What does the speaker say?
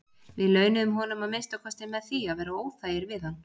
Við launuðum honum að minnsta kosti með því að vera óþægir við hann.